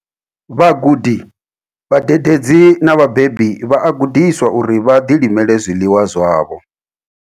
Vhagudi, vhadededzi na vhabebi vha a gudiswa uri vha ḓilimele zwiḽiwa zwavho.